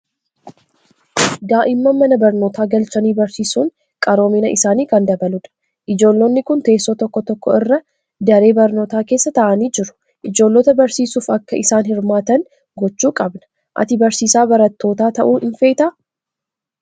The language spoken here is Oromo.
Daa'imman mana barnootaa galchanii barsiisuun qaroomina isaanii kan dabaludha. Ijoollonni kun teessoo tokko tokko irra daree barnootaa keessa taa'anii jiru. Ijoollota barsiisuuf akka isaan hirmaatan gochuu qabna. Ati barsiisaa barattootaa ta'uu ni feetaa?